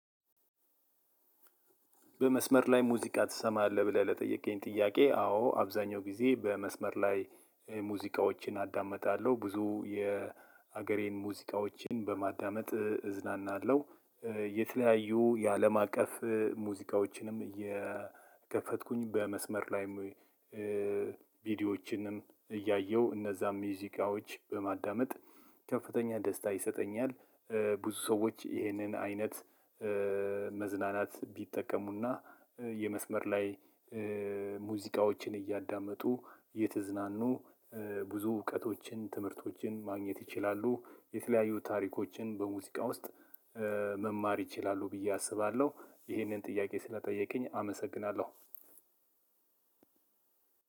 በመስመር ላይ ሙዚቃ ትሰማለህ ብለህ ለጠየቀኝ ጥያቄ አዎ አብዛኛው ጊዜ በመስመር ላይ ሙዚቃዎችን አዳምጣለሁ ብዙ የሀገሬን ሙዚቃዎችን በማዳመጥ እዝናናለሁ። የተለያዩ የአለም አቀፍ ሙዚቃዎችንም እየከፈትኩኝ በመስመር ላይም። ቪዲዮዎችንም እያየሁ እነዛም ሙዚቃዎች በማዳመጥ ከፍተኛ ደስታ ይሰጠኛል። ብዙ ሰዎች ይህንን አይነት መዝናናት ቢጠቀሙና የመስመር ላይ ሙዚቃዎችን እያዳመጡ እየተዝናኑ ብዙ እውቀቶችን ትምህርቶችን ማግኘት ይችላሉ። የተለያዩ ታሪኮችን በሙዚቃ ውስጥ መማር ይችላሉ። ብዬ አስባለሁ ይሄንን ጥያቄ ስለጠየቀኝ አመሰግናለሁ።